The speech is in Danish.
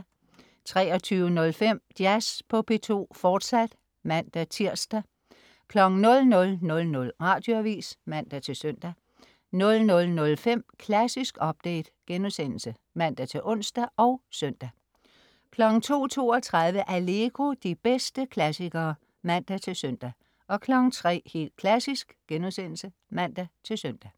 23.05 Jazz på P2, fortsat (man-tirs) 00.00 Radioavis (man-søn) 00.05 Klassisk update* (man-ons og søn) 02.32 Allegro. De bedste klassikere (man-søn) 03.00 Helt Klassisk* (man-søn)